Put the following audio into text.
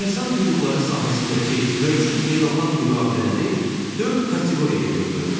İnsan hüquqları sahəsindəki mövcud beynəlxalq müqavilələri dörd kateqoriyaya bölmək olar.